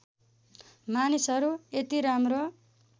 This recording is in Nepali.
मानिसहरू यति राम्रो